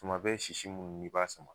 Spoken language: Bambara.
Tumabɛ sisi munnu n'i b'a sama